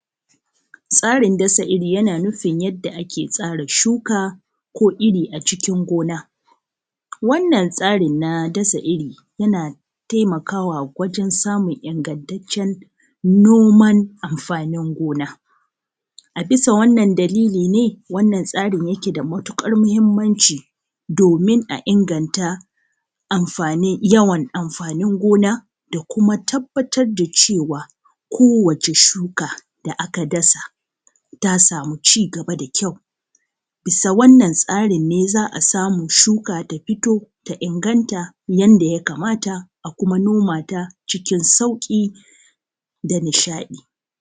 Tsarin dasa irii yanaa nufin yadda akee tsara shukaa ko irii acikin gona. Wannan tsarin naa dasa irii yanaa taimakawa wajen samun ingantaccen noman amfanin gona. A bisa wannan dalili nee wannan tsarin yakee da matuƙar muhimmanci domin a inganta amfanin, yawan amfanin gona, da kumaa tabbatar da cewa kowace shukaa da akaa dasa ta samuu cigaba da kyau. Bisa wannan tsarin nee za’a samuu shukaa ta fito ta inganta yanda ya kamata, a kumaa noma ta cikin sauƙi da nishaɗi.